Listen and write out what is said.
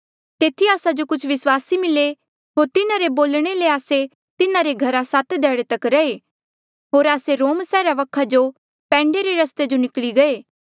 तेथी आस्सा जो कुछ विस्वासी मिले होर तिन्हारे बोलणे ले आस्से तिन्हारे घरा सात ध्याड़े तक रैहे होर आस्से रोम सैहरा वखा जो पैंडे रे रस्ते जो निकली गये